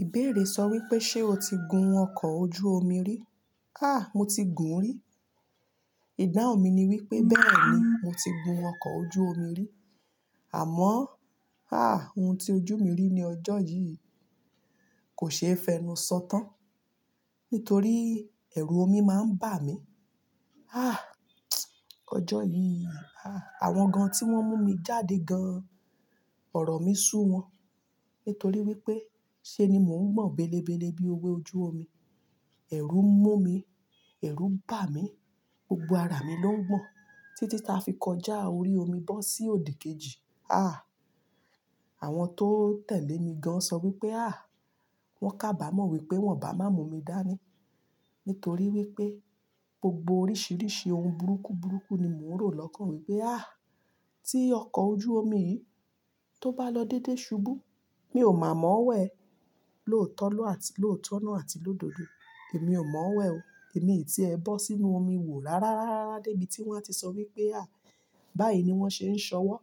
Ìbéèrè sọ wípé ṣe ó ti gun ọkọ̀ ojú omi rí? Háà, mo ti gùn ún rí. Ìdáhùn mi ni wípé bẹ́ẹ̀ ni, mo ti gun ọkọ̀ ojú omi rí. Àmọ́, háà, ohun tí ojú mi rí ní ọjọ́ yìí kò ṣe é fẹnu sọ tán nítorí ẹ̀rù omi máa ń bà mí. Háà, ọjọ́ yìí, àwọn gan tí wón mú mi jáde gan, ọ̀rọ̀ mí sú wọn. Nítorí wípé ṣe ni mò ń gbọ̀n bélebéle bí ewe ojú omi. Ẹ̀rù mú mi, ẹ̀rù bà mí, gbogbo ara mi ló ń gbọ̀n títí ta fi kọjá orí omi bọ́ sí òdìkejì. Háà, àwọn tó tẹ̀lé mi gan sọ wípé hà, wón kábàmọ̀ wípé wón bá má mú mi dání. Nítorí wípé gbogbo oríṣiríṣi ohun burúkú burúkú ni mò ń rò lọ́kàn wípé hà, tí ọkọ̀ ojú omi yìí tó bá lọ dédé ṣubú, mi ò mọ̀ wẹ̀. Lóòótọ́ lọ àti, lóòótọ́ náà àti lódodo. Èmi ò mọ̀ wẹ̀ o. Èmi tí ẹ bọ́ sínú omi wò rá rá rá rá rá débi tí wón á ti sọ wípé à, báyìí ni wón ṣe ń ṣọwọ́.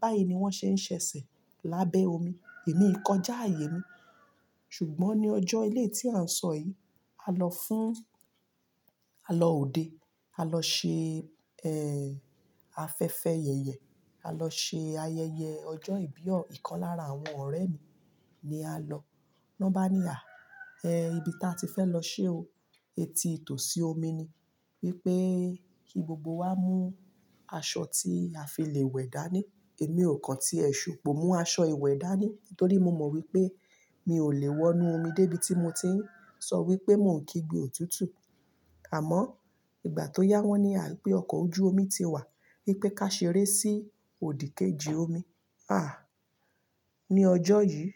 Báyìí ni wón ṣe ń ṣẹ̀sẹ̀ lábẹ́ omi. Èmi kọjá ààyè mi. Ṣùgbọ́n ní ọjọ́ eleyi tí à ń sọ yìí, a lọ fún, a lọ òde, a lọ ṣe, ẹ́, afẹ́fẹ́ yẹ̀yẹ̀. A lọ ṣe ayẹyẹ ọjọ́ ìbí o, ikan lára àwọn ọ̀rẹ́ mi ni a lọ. Na bá ní à, ẹ́, ibi tí a ti fẹ́ lọ ṣe o, etí tò sí omi ni. Wípé kí gbogbo wa mú aṣọ tí a fi lè wẹ̀ dání. Èmi ò kàn tí ẹ ṣùpo mú aṣọ ìwẹ̀ dání. Nítorí mo mọ̀ wípé mi ò lè wọ inú omi débí tí mo ti ń sọ wípé mò ń kí gbé òtútù. Àmọ́ ìgbà tó yá wọ́n ní à wipé ọkọ̀ ojú omi ti wà. Wípé ká ṣeré sí òdìkejì omi. Háà, ní ọjọ́ yìí,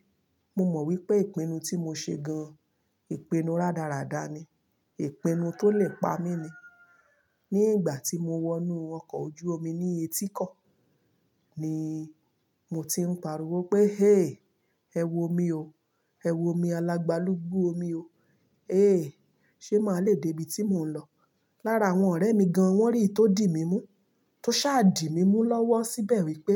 mo mọ̀ wípé ìpinnu tí mo ṣe gan, ìpinnu rádaràda ni. Ìpinnu tó lè pa mí ni. Ní ìgbà tí mo wọ inú ọkọ̀ ojú omi ní etíko, ni mò ti ń pariwo pé "hé, ẹ wò omí o. Ẹ wò omí alágbalúgbú omi o. Hé, ṣe máa lè dé ibi tí mò ń lọ?" Lára àwọn ọ̀rẹ́ mi gan wón rí iyi tó dì mí mú. Tó ṣá dì mí mú lọ́wọ́ síbẹ̀ wípé,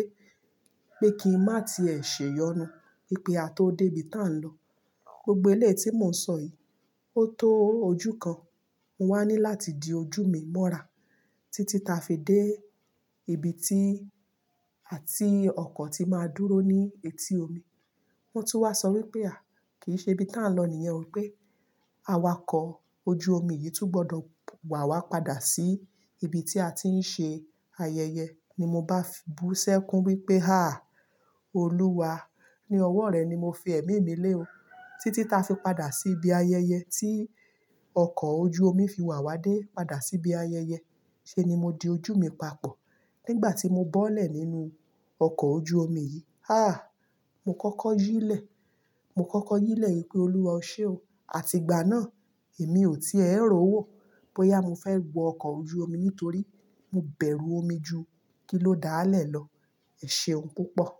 pé kí n má ti ẹ ṣè yọnu. Wípé a tó dé ibi tà ń lọ. Gbogbo eleyi tí mò ń sọ yìí, ó tó ojú kan, mo wá ní láti di ojú mi mọ́ra títí ta fi dé ibi tí, à, ti ọkọ̀ tí máa dúró ní etí omi. Wọ́n tún wá sọ wípé à, kì í ṣe ibi tí à ń lọ nìyẹn o pé awakọ̀ ojú omi yìí tún gbọdọ̀ wà wá padà sí ibi tí a ti ń ṣe ayẹyẹ. Ni mo bá fi bú sẹ́kù wípé "háà, Olúwa, ní ọwọ́ rẹ ni mo fi ẹ̀mí mi lé o." Títí ta fi padà sí ibi ayẹyẹ tí ọkọ̀ ojú omi fi wa wá dé padà sí ibi ayẹyẹ, ṣe ni mo di ojú mi papọ̀. Nígbà tí mo bọ́lẹ̀ nínú ọkọ̀ ojú omi yìí, háà, mo kọ́kọ́ yílẹ̀. Mo kọ́kọ́ yílẹ̀ wípé "Olúwa, ọ ṣe o." Àti ìgbà náà, èmi ò tí è rò ó wò pé yá mo fẹ́ wọ ọkọ̀ ojú omi nítorí mo bẹ̀rù omi ju kí ló dáàlẹ̀ lọ. Ẹ̀ ṣeun púpọ̀.